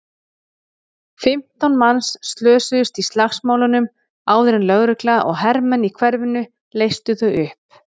Fimmtán manns slösuðust í slagsmálunum áður en lögregla og hermenn í hverfinu leystu þau upp.